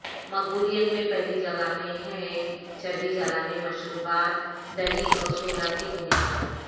مقبولیت میں پہلی جگہ میں ہیں چربی جلانے مشروبات دہی اور سوڈا کی بنیاد پر